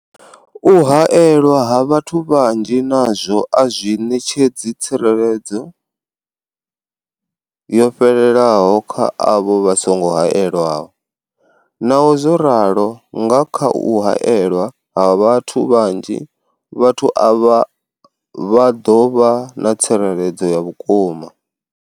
U haelwa ha vhathu vhanzhi nazwo a zwi ṋetshedzi tsireledzo yo fhelelaho kha avho vha songo haelwaho. Naho zwo ralo, nga kha u haelwa ha vhathu vhanzhi, vhathu avha vha ḓo vha na tsireledzo ya vhukuma.